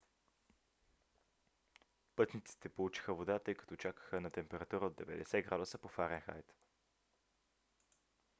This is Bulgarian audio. пътниците получиха вода тъй като чакаха на температура от 90 градуса по фаренхайт